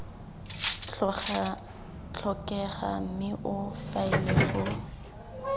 tlhokega mme o faele go